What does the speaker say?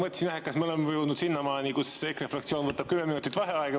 Ma mõtlesin jah, et kas me oleme juba jõudnud sinnamaani, et EKRE fraktsioon võtab kümme minutit vaheaega.